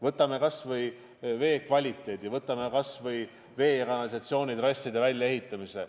Võtame kas või vee kvaliteedi, võtame kas või vee- ja kanalisatsioonitrasside väljaehitamise.